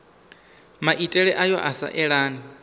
maitele ayo a sa elani